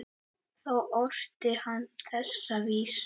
Þá orti hann þessa vísu